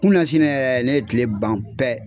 Kunu n'a sini yɛrɛ ne ye tile ban pɛ.